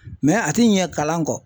a ti ɲɛ kalan kɔ.